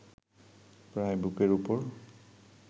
প্রায় বুকের উপর